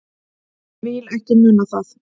Vil ekki muna það.